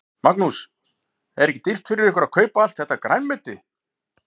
Magnús: Er ekki dýrt fyrir ykkur að kaupa allt þetta grænmeti?